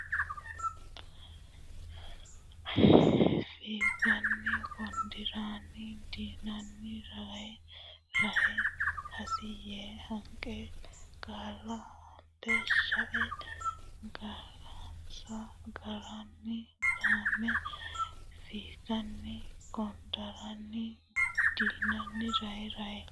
Fiiganni kondooranni dinanni rahe rahe hossi yee hanqe qaalla aante shae ga rensa garinni gaamme Fiiganni kondooranni dinanni rahe rahe.